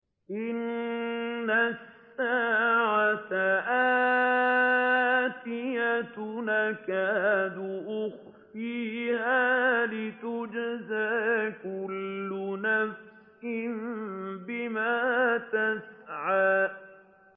إِنَّ السَّاعَةَ آتِيَةٌ أَكَادُ أُخْفِيهَا لِتُجْزَىٰ كُلُّ نَفْسٍ بِمَا تَسْعَىٰ